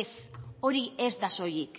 ez hori ez da soilik